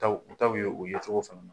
U ta u ta be ye u ye cogo fana na.